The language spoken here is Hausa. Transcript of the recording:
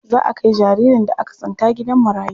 Za a kai jaririn da aka tsinta gidan marayu.